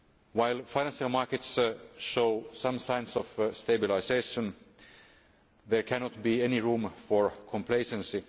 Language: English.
While financial markets show some signs of stabilisation, there cannot be any room for complacency.